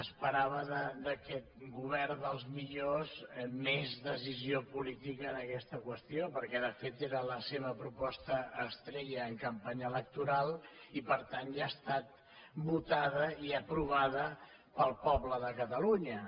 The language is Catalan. esperava d’aquest govern dels millors més decisió política en aquesta qüestió perquè de fet era la seva proposta estrella en campanya electoral i per tant ja ha estat votada i aprovada pel poble de catalunya